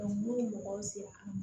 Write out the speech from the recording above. n'u ye mɔgɔw sera